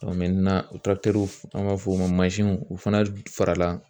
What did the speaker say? o an b'a fɔ o ma u fana farala